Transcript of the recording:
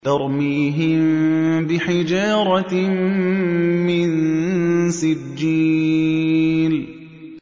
تَرْمِيهِم بِحِجَارَةٍ مِّن سِجِّيلٍ